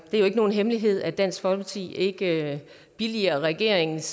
er jo ikke nogen hemmelighed at dansk folkeparti ikke billiger regeringens